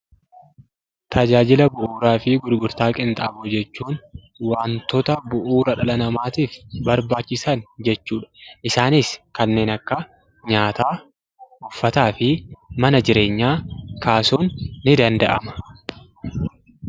Tajaajila bu'uuraa fi gurgurtaa qinxaaboo jechuun wantoota bu'uura dhala namaatiif barbaachisan jechuudha. Isaanis kanneen akka nyaataa, uffataa fi mana jireenyaa kaasuun ni danda'ama.